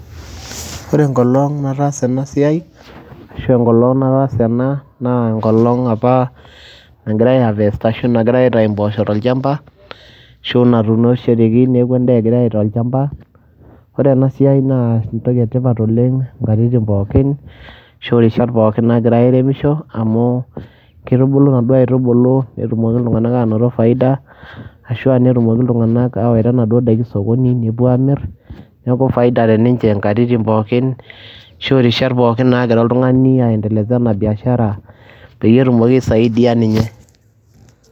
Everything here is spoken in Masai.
Ore enkolong' nataasa ena siai ashu enkolong' nataasa ena naa enkolong' apa nagirai aiharvest ashu nagirai aitayu mbooosho tolchamba, ashu natuunishoreki neeku endaa egirai aita olchamba. Ore ena siai naa entoki e tipat oleng' nkatitin pookin ashu rishat pookin nagirai airemisho, amu kitubulu naduo aitubulu netumoki iltung'anak anoto faida ashu a netumoki iltung'anak awaita naduo daiki sokoni nepuo aamir. Neeku faida te ninje nkatitin pookin ashu rishat pookin naagira oltung'ani aiendeleza ena biashara peyie etumoki aisaidia ninye.